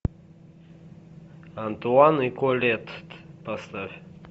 антуан и колетт поставь